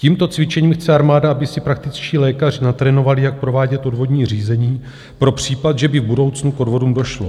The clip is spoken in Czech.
Tímto cvičením chce armáda, aby si praktičtí lékař natrénovali, jak provádět odvodní řízení pro případ, že by v budoucnu k odvodům došlo.